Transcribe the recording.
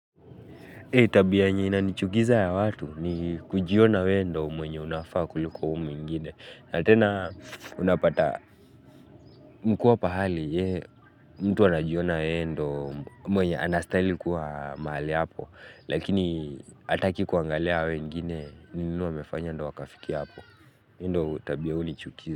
Tabi yenye inanichukiza ya watu ni kujiona we ndio mwenye unafaa kuliko uyu mwingine. Na tena unapata mkua pahali hei mtu wanajiona weendo mwenye anastali kuwa maali hapo. Lakini hataki kuangalia wengine, wengine wamefanya ndio wakafikia hapo endo tabi ya unichukiza.